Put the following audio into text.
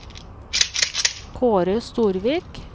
Kaare Storvik